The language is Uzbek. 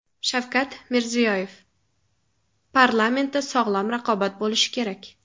Shavkat Mirziyoyev: Parlamentda sog‘lom raqobat bo‘lishi kerak.